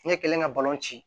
Ɲɛ kelen ka balon ci